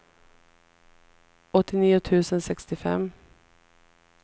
åttionio tusen sextiofem